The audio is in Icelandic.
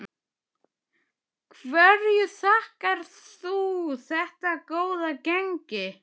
Hverju þakkar þú þetta góða gengi?